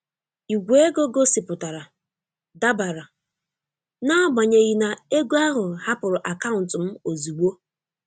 Ìgwè ego gosipụtara "dabara" n'agbanyeghị na ego ahụ hapụrụ akaụntụ m ozugbo.